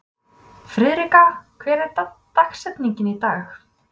Friðrika, hver er dagsetningin í dag?